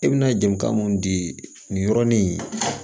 E bɛna jenita mun di nin yɔrɔnin in